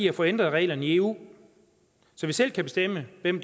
at få ændret reglerne i eu så vi selv kan bestemme hvem